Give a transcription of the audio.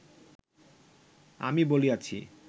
আমি বলিয়াছি